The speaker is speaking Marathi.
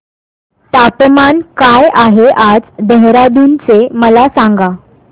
तापमान काय आहे आज देहराडून चे मला सांगा